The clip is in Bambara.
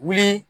Wuli